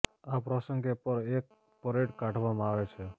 આ પ્રસંગે પર એક પરેડ કાઢવામાં આવે છે